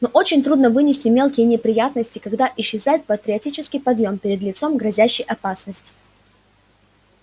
но очень трудно вынести мелкие неприятности когда исчезает патриотический подъём перед лицом грозящей опасности